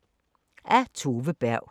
Af Tove Berg